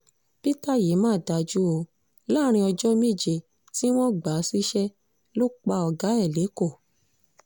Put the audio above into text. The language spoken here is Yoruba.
peter yìí mà dájú o láàrin ọjọ́ méje tí wọ́n gbà á síṣẹ́ lọ pa ọ̀gá ẹ̀ lẹ́kọ̀ọ́